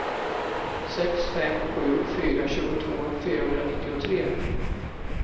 sex fem sju fyra tjugotvå fyrahundranittiotre